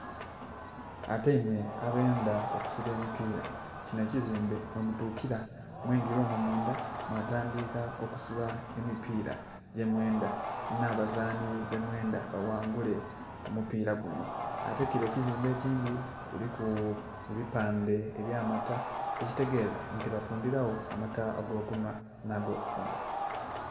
Ateimwe abendha okusiba omupira kinho ekizimbe mwemutukira mweengira omwo mundha mwatandhika okusiba emipira gyemwendha nnhabazanhi bemwendha baghangule omupira gunho. Ate kire ekizimbe ekindhi kiriku ebipandhe ebyamata, ekitegeza nti batundhiragho amata agokunhwa nh'agokutundha.